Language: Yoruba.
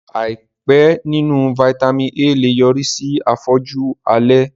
Àìpé nínú Vitamin A lè yọrí sí afọ́jú alẹ́